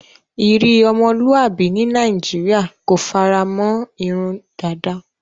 Iri omoluabi ni Nigeria ko faramon irun dada